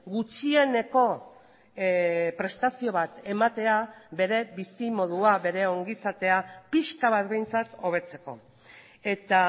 gutxieneko prestazio bat ematea bere bizimodua bere ongizatea pixka bat behintzat hobetzeko eta